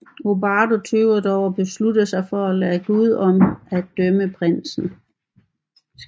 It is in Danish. Odoardo tøver dog og beslutter sig for at lade Gud om at dømme prinsen